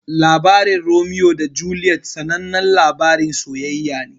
Labarin Romeo da Juliet sanannan labarin sayayya ne.